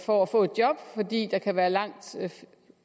for at få et job fordi der kan være langt